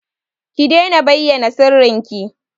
Ki daina bayyana sirrinki!